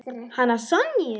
Hana Sonju?